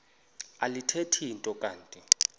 alithethi nto kanti